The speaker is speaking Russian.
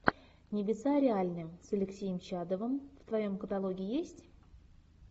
небеса реальны с алексеем чадовым в твоем каталоге есть